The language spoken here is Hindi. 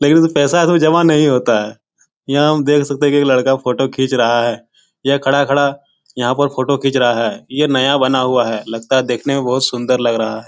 लेकिन इसमें पैसा है तो जमा नहीं होता है। यहाँ हम देख सकते कि एक लड़का फ़ोटो खींच रहा है। यह खड़ा-खड़ा यहाँ पर फ़ोटो खींच रहा है। ये नया बना हुआ है। लगता है देखने में बहुत सुन्दर लग रहा।